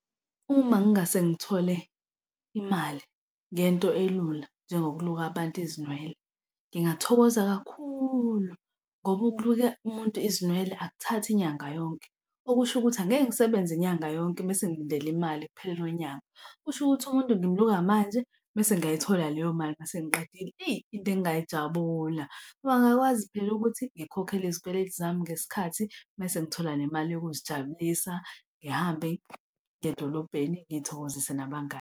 Uma ngingase ngithole imali ngento elula njengokuluka abantu izinwele, ngingathokoza kakhulu ngoba ukuluka umuntu izinwele akuthathi inyanga yonke, okusho ukuthi angeke ngisebenze inyanga yonke mese ngilindela imali ekupheleni kwenyanga. Kusho ukuthi umuntu ngimluka manje mese ngiyayithola leyo mali uma sengiqedile. Eyi, into engingayijabula ngoba ngakwazi phela ukuthi ngikhokhele izikweletu zami ngesikhathi mese ngithola nemali yokuzijabulisa. Ngihambe ngiye edolobheni ngizithokozise nabangani.